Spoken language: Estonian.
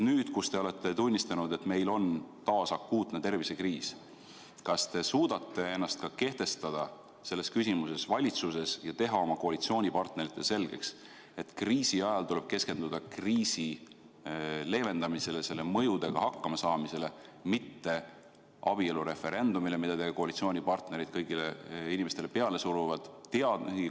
Nüüd, kui te olete tunnistanud, et meil on taas akuutne tervisekriis, kas te suudate ennast valitsuses selles küsimuses kehtestada ja teha oma koalitsioonipartneritele selgeks, et kriisi ajal tuleb keskenduda kriisi leevendamisele, selle mõjudega hakkama saamisele, mitte abielureferendumile, mida teie koalitsioonipartnereid kõigile inimestele peale suruvad?